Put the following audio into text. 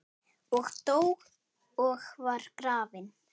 og dó og var grafinn